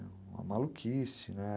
maluquice, né?